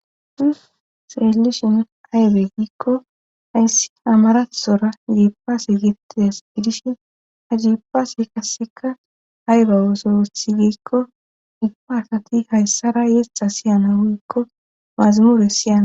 Nu xeelishin aybe giikko hayssi amarathora giipase gettida es fidishin ha giipaase kasseka aybe wosoetsi gikko igpartati hayssara yeththa siyana woykko maazamuure siyana